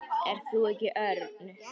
Ert þú ekki Örn?